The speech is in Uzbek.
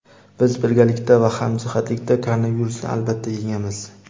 Biz birgalikda va hamjihatlikda koronavirusni albatta yengamiz!.